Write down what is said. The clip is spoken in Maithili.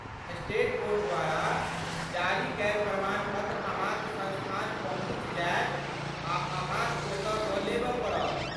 स्टेट बोर्ड द्वारा जारी कयल प्रमाण पत्र अहाँक संस्थान पहुँच जायत आ अहाँक ओतऽ सँ लेबऽ पड़त।